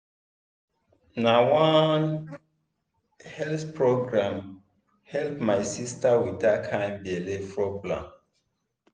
na one health program help my sister with that kind belly problem.